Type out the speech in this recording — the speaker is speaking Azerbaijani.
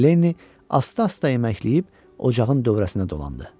Lenni asta-asta əməkləyib ocağın dövrəsinə dolandı.